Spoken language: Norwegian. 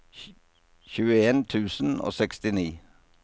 tjueen tusen og sekstini